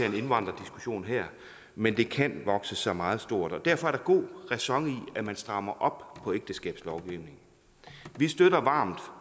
en indvandrerdiskussion her men det kan vokse sig meget stort og derfor er der god ræson i at man strammer op på ægteskabslovgivningen vi støtter varmt